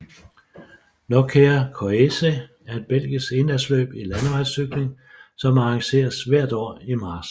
Nokere Koerse er et belgisk endagsløb i landevejscykling som arrangeres hvert år i marts